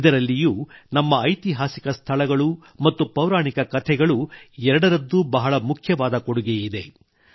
ಇದರಲ್ಲಿಯೂ ನಮ್ಮ ಐತಿಹಾಸಿಕ ಸ್ಥಳಗಳು ಮತ್ತು ಪೌರಾಣಿಕ ಕಥೆಗಳು ಎರಡರದ್ದೂ ಬಹಳ ಮುಖ್ಯವಾದ ಕೊಡುಗೆಯಿದೆ